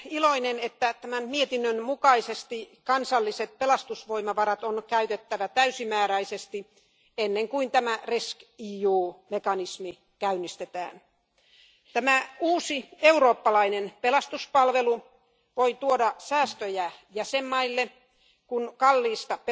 Arvoisa puhemies, olen iloinen, että tämän mietinnön mukaisesti kansalliset pelastusvoimavarat on käytettävä täysimääräisesti ennen kuin tämä rescEU mekanismi käynnistetään. Tämä uusi eurooppalainen pelastuspalvelu voi tuoda säästöjä jäsenvaltioille, kun kallista